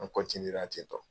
An tentɔ.